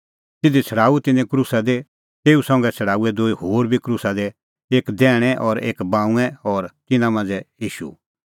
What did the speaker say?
तिधी छ़ड़ाऊअ तिन्नैं ईशू क्रूसा दी तेऊ संघै छ़ड़ाऊऐ दूई होर बी क्रूसा दी एक दैहणै और एक बाऊंऐं और तिन्नां मांझ़ै ईशू